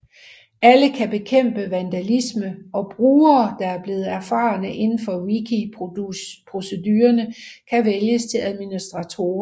Alle kan bekæmpe vandalisme og brugere der er blevet erfarne indenfor wikiprocedurerne kan vælges til administratorer